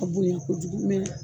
A bonya kojugu mɛ ɲin.